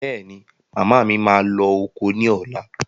Bẹ́è ni, màmá mi máa lọ oko ní ọ̀la.